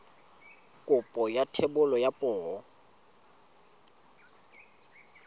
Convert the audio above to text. kopo ya thebolo ya poo